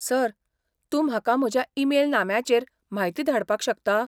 Sir, तूं म्हाका म्हज्या ईमेल नाम्याचेर म्हायती धाडपाक शकता?